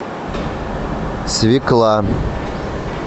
свекла